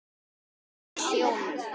Þau lentu í sjónum.